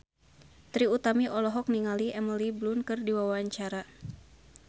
Trie Utami olohok ningali Emily Blunt keur diwawancara